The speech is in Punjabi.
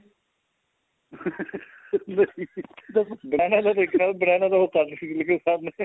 banana ਤਾਂ ਦੇਖਿਆ banana ਛਿੱਲ ਕੇ ਖਾਨੇ ਆ